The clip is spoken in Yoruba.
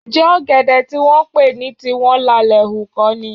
Ǹjẹ́ ọ̀gẹ̀dẹ̀ tí wọ́n pè ní tiwọn lalẹ̀ hù kọ́ ni?